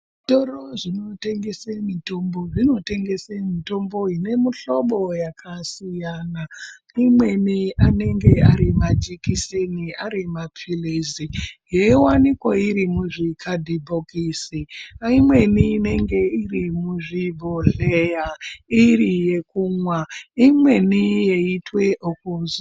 Zvitoro zvinotengese mitombo, zvinotengese mitombo inemuhlobo yakasiyana, imweni anenge ari majekiseni ,ari mapilizi, yeyiwanikwa iri muzvikadhibhokisi, imweni inenge iri muzvibhodhleya iri yekumwa, imweni yeitwe okuzora.